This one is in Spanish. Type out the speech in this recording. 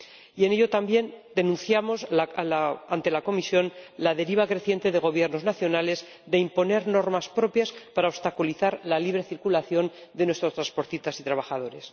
Y denunciamos también ante la Comisión la deriva creciente de los Gobiernos nacionales de imponer normas propias para obstaculizar la libre circulación de nuestros transportistas y trabajadores.